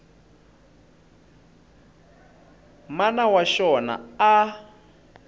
mana wa xona a a